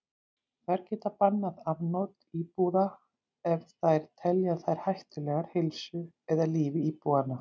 Þær geta bannað afnot íbúða ef þær telja þær hættulegar heilsu eða lífi íbúanna.